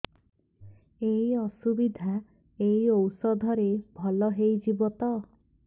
ଏଇ ଅସୁବିଧା ଏଇ ଔଷଧ ରେ ଭଲ ହେଇଯିବ ତ